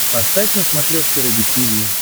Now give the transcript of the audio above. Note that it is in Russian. поставь на смотрешке рубль ти ви